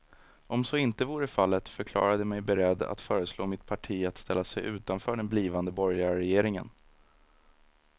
Om så inte vore fallet förklarade jag mig beredd att föreslå mitt parti att ställa sig utanför den blivande borgerliga regeringen.